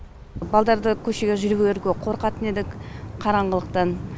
балдарды көшеге жірберуге қорқатын едік қараңғылықтан